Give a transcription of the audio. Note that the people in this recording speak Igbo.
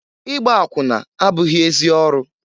Igba akwụna abụghị ezi ọrụ.